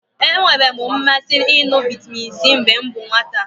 E nwere m mmasị ịṅụ vitamin C mgbe m bụ nwata